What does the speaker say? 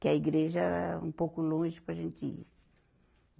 Que a igreja era um pouco longe para a gente ir.